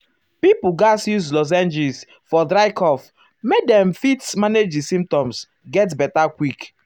pipo gatz use lozenges um for dry cough make dem make dem fit manage di symptoms to get beta quick.